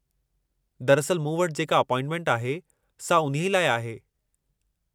दरअसलि, मू वटि जेका अपॉइंटमेंट आहे, सा उन्हीअ लाइ आहे।